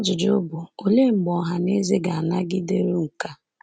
olee mgbe ọha na eze ga-anagideru nke a?